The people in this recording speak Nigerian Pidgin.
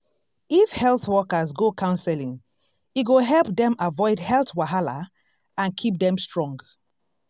if health workers go counseling e go help dem avoid health wahala and keep keep dem strong.